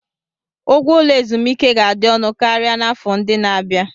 Ụgwọ ụlọ ezumike ga-adị ọnụ karịa n'afọ ndị na-abịa.